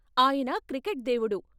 ఆయన 'క్రికెట్ దేవుడు'.